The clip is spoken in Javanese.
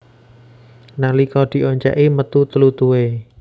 Nalika dioncèki metu tlutuhé